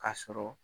K'a sɔrɔ